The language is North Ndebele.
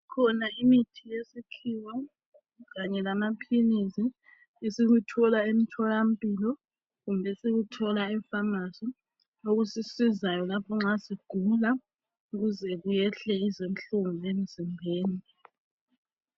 Kukhona imithi yesikhiwa kanye lamapills esikuthola ethola mpilo lesikuthola ephamacy okusisizayo lapho nxa sigula ukuze kuyehle izinhlungu emzimbeni